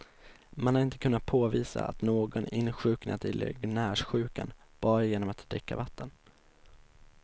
Man har inte kunnat påvisa att någon insjuknat i legionärssjukan bara genom att dricka vatten.